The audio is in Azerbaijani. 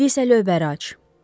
İndi isə lövbəri aç.